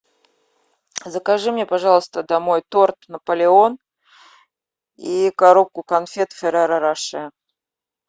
закажи мне пожалуйста домой торт наполеон и коробку конфет ферреро роше